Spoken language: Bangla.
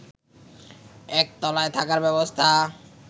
একতলায় থাকার ব্যবস্থা